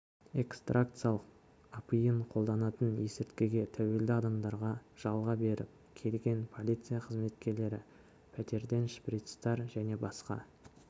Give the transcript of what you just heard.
экстракциялық апиын қолданатын есірткіге тәуелді адамдарға жалға беріп келген полиция қызметкерлері пәтерден шприцтар және басқа